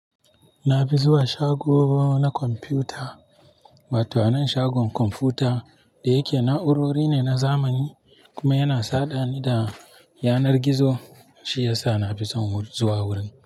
Na fi zuwa shago na kwamfuta. Wato anan shagon kwamfuta da yake na'urori ne na zamani kuma yana saɗa ni da yanar gizo shi yasa na fi son zuwa wurin.